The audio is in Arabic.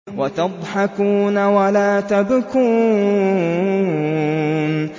وَتَضْحَكُونَ وَلَا تَبْكُونَ